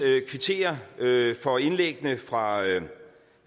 kvittere for indlæggene fra